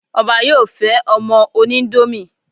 Ọbá yóò fẹ́ ọmọ oníńdómì